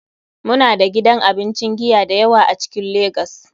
Muna da gidan abincin giya da yawa a cikin lagos.